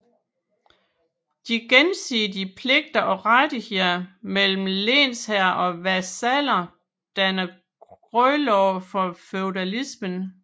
De gensidige pligter og rettigheder mellem lensherre og vasaller danner grundlaget for feudalismen